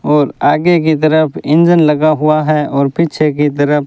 और आगे की तरफ इंजन लगा हुआ है और पीछे की तरफ--